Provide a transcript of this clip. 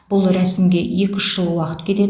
бұл рәсімге екі үш жыл уақыт кетеді